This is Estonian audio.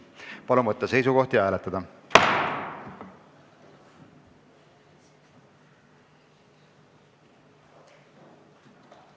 Palun võtta seisukoht ja hääletada!